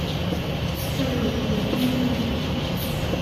салют митэн ютуб